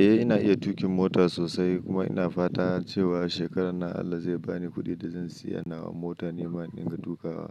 Eh ina iya tuƙin mota sosai kuma ina fata cewa shekarar nan Allah zai bani kuɗi da zan siya nawa mota niman in dinga tuƙawa.